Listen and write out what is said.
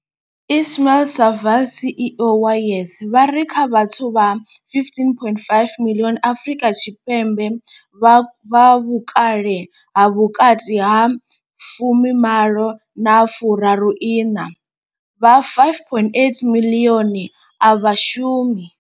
Ismail-Saville CEO wa YES, vha ri kha vhathu vha 15.5 miḽioni Afrika Tshipembe vha vhukale ha vhukati ha 18 na 34, vha 5.8 miḽioni a vha shumi.